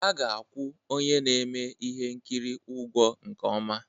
A ga-akwụ onye na-eme ihe nkiri ụgwọ nke ọma